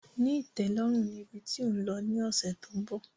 Ní ìtẹ́lọ́rùn ni ibi tí ò ń lọ ni ọ̀sẹ̀ tó ń bọ̀